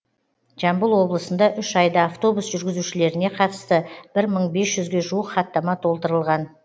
жамбыл облысында үш айда автобус жүргізушілеріне қатысты бір мың бес жүзге жуық хаттама толтырылған